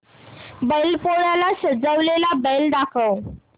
बैल पोळ्याला सजवलेला बैल दाखव